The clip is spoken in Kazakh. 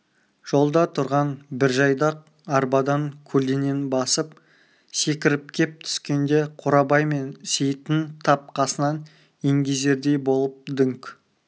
жолда тұрған бір жайдақ арбадан көлденең басып секіріп кеп түскенде қорабай мен сейіттің тап қасынан еңгезердей болып дүңк